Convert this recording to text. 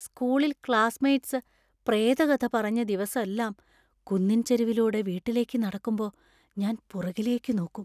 സ്‌കൂളിൽ ക്ലാസ്മേറ്റ്‌സ് പ്രേതകഥ പറഞ്ഞ ദിവസെല്ലാം കുന്നിൻ ചെരിവിലൂടെ വീട്ടിലേക്ക് നടക്കുമ്പോ ഞാൻ പുറകിലേക്ക് നോക്കും.